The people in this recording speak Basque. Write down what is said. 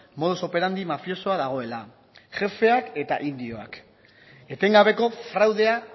modus operandi mafiosoa dagoela jefeak eta indioak etengabeko fraudea